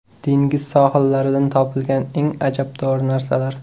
Dengiz sohillaridan topilgan eng ajabtovur narsalar.